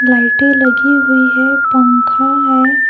लाइटें लगी हुई है पंखा है।